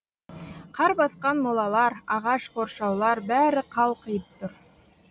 қар басқан молалар ағаш қоршаулар бәрі қалқиып тұр